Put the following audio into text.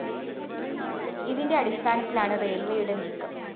ഇതിന്റെ അടിസ്ഥാനത്തിലാണ് റെയില്‍വേയുടെ നീക്കം